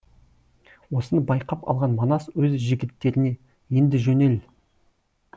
осыны байқап алған манас өз жігіттеріне енді жөнел